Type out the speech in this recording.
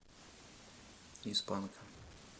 из панка